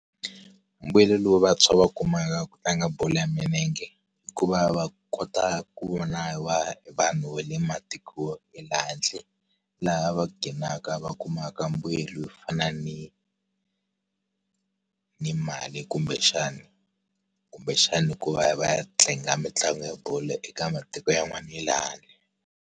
Mbuyelo lowu vantshwa va wu kumaka ku tlanga bolo ya milenge, i ku va va kota ku vona vanhu va le matiko ya le handle. Laha va ghinaka va kumaka mbuyelo wo fana ni ni mali kumbexana. Kumbexana hi ku va va ya va ya tlanga mitlangu ya bolo eka matiko yan'wana ya le handle.